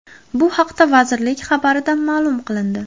Bu haqda vazirlik xabarida ma’lum qilindi .